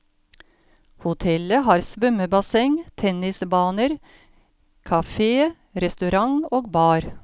Hotellet har svømmebasseng, tennisbaner, cafe, restaurant og bar.